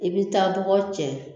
I bɛ taa dɔgɔ cɛ